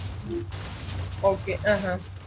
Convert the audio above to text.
okay ആഹ് ആഹ്